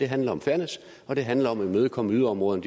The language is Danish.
handler om fairness og det handler om at imødekomme yderområderne